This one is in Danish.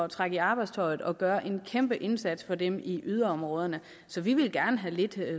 trække i arbejdstøjet og gøre en kæmpe indsats for dem i yderområderne så vi vil gerne have lidt